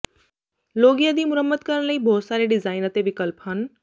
ਲੋਗਿਆ ਦੀ ਮੁਰੰਮਤ ਕਰਨ ਲਈ ਬਹੁਤ ਸਾਰੇ ਡਿਜ਼ਾਈਨ ਅਤੇ ਵਿਕਲਪ ਹਨ